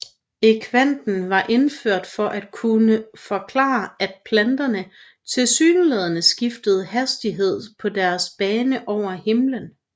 Ekvanten var indført for at kunne forklare at planeterne tilsyneladende skiftede hastighed på deres bane over himmelen